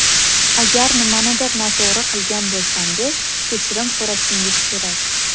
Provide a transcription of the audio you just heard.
Agar nimanidir noto‘g‘ri qilgan bo‘lsangiz, kechirim so‘rashingiz kerak.